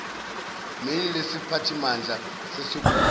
meyili lesiphathimandla sesokwazisa